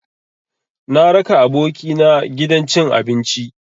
Na raka abokina gidan cin abinci.